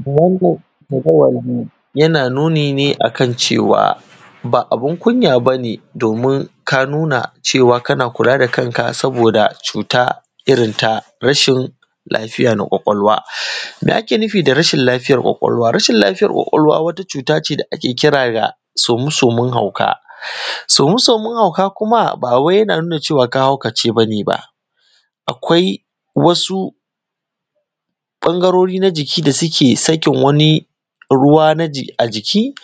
Wannan jadawalin yana nuni ne akan cewa ba abun kunya bane domin ka nuna cewa kana kula da kanka saboda cuta irin ta rashin lafiya na ƙwaƙwalwa me ake nufi da rashin lafiyar ƙwaƙwalwa rashin lafiyar ƙwaƙwalwa wata cutace da ake kira da some-somen hauka some-somen hauka kuma ba wai yana nuna cewa ka haukace bane ba akwai wasu ɓangarori na jiki da suke sakin wani ruwa na a jiki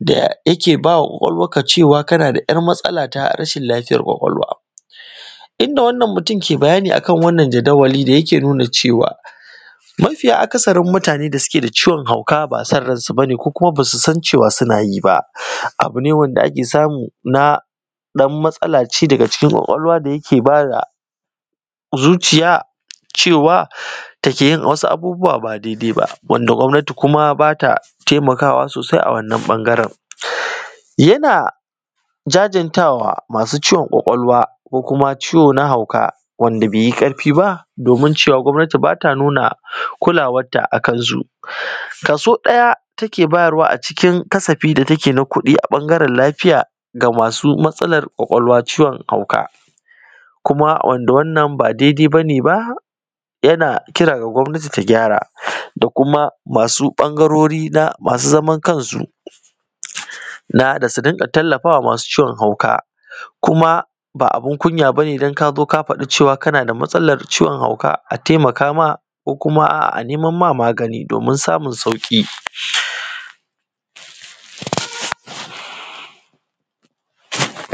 da yake bawa ƙwaƙwalwar ka cewa kana da ‘yar matsala ta rashin lafiyar ƙwaƙwalwa inda wannan mutum ke bayani akan wannan jadawali yake nuna cewa mafiya akasarin mutane da suke da ciwon hauka ba son ransu bane ko kuma basu san cewa suna yi ba abu ne wanda ake samu na ɗan matsala ce daga cikin ƙwaƙwalwa da yake bada zuciya cewa take yin wasu abubuwa ba daidai ba wanda gwamnati kuma bata taimakawa sosai a wannan ɓangaren yana jajantawa masu ciwon ƙwaƙwalwa ko kuma ciwo na hauka wanda bai yi karfi ba domin cewa gwamnati bata nuna kulawar ta akan su kaso ɗaya take bayarwa a cikin kasafi da take na kuɗi a ɓangaren lafiya ga masu matsalar ƙwaƙwalwa ciwon hauka kuma wanda wannan ba dai-dai bane yana kira ga gwamnati ta gyara da kuma masu ɓangarori na hauka masu zaman kansu da su rinka tallafawa masu ciwon hauka kuma ba a bun kunya bane don ka zo ka faɗi cewa kana da matsalar ciwon hauka a taimaka ma ko kuma a neman ma magani domin samun sauƙi